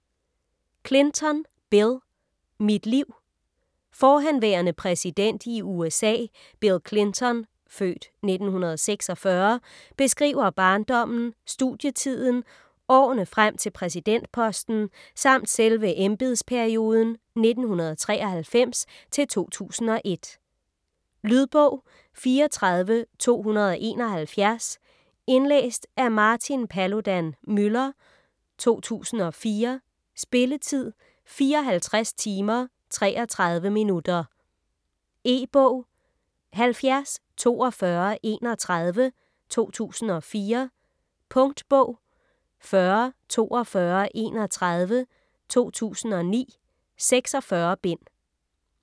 Clinton, Bill: Mit liv Forhenværende præsident i USA Bill Clinton (f. 1946) beskriver barndommen, studietiden, årene frem til præsidentposten samt selve embedsperioden 1993-2001. Lydbog 34271 Indlæst af Martin Paludan-Müller, 2004. Spilletid: 54 timer, 33 minutter. E-bog 704231 2004. Punktbog 404231 2009. 46 bind.